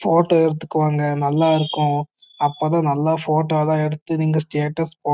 photo எடுத்துங்க நல்ல இருக்கும்அப்போ தான் நல்ல போட்டோ எல்லா எடுத்து நீங்க ஸ்டேட்டஸ் போட--